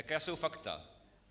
Jaká jsou fakta.